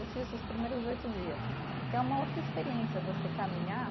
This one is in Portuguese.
Eu fiz os primeiros oito dias, que é uma outra experiência você caminhar